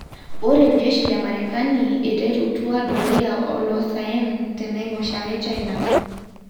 Ore jeshi le Marekani eterutua Doria olosaen te naiposha e China.